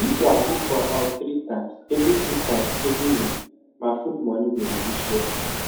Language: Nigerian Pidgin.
if i cook for house three times every three times every week my food money go reduce well